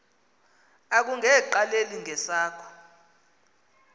akunge qaleli ngesakho